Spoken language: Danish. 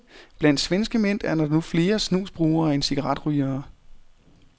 Blandt svenske mænd er der nu flere snusbrugere end cigaretrygere.